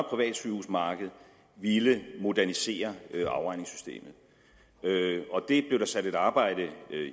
privat sygehusmarked at ville modernisere afregningssystemet det blev der sat et arbejde